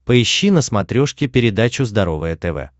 поищи на смотрешке передачу здоровое тв